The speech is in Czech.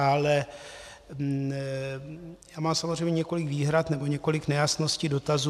Ale já mám samozřejmě několik výhrad nebo několik nejasností, dotazů.